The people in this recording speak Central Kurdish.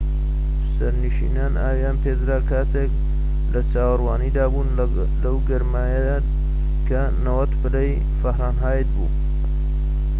سەرنشینان ئاویان پێدرا کاتێك لە چاوەڕوانیدا بوون لەو گەرمایەدا کە 90 پلەی فاهەنایت بوو